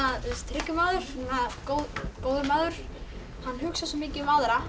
hryggur maður góður maður hugsar svo mikið um aðra